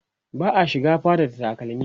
ba'a shiga fada da takalmi